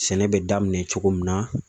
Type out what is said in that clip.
Sɛnɛ bɛ daminɛ cogo min na